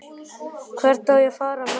Hvert á ég að fara með það?